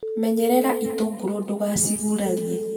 Menyerera itũngũrũ ndugacigurarie.